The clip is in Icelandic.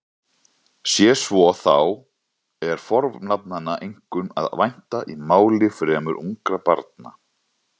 Sé svo þá er fornafnanna einkum að vænta í máli fremur ungra barna.